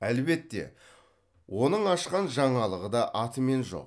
әлбетте оның ашқан жаңалығы да атымен жоқ